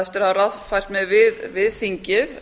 eftir að hafa ráðfært mig við þingið